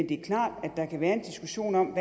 det er klart at der kan være en diskussion om